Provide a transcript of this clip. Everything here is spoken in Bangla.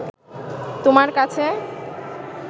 তোমার কাছে